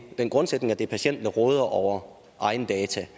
er den grundsætning at det er patienten der råder over egen data